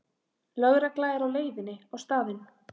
Lögregla er á leiðinni á staðinn